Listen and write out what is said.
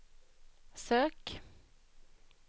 sök